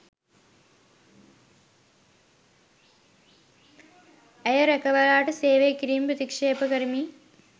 ඇය රැකවලාට සේවය කිරීම ප්‍රතික්ෂේප කරමි